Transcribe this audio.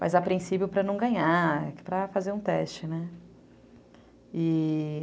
Mas a princípio para não ganhar, para fazer um teste, né?